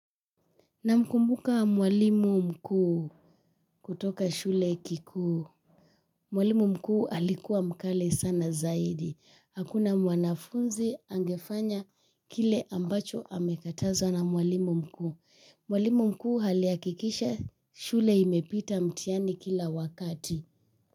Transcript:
Namkumbuka mwalimu mkuu kutoka shule kikuu. Mwalimu mkuu alikuwa mkali sana zaidi. Hakuna mwanafunzi angefanya kile ambacho amekatazwa na mwalimu mkuu. Mwalimu mkuu alihakikisha shule imepita mtihani kila wakati.